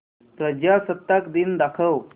प्रजासत्ताक दिन दाखव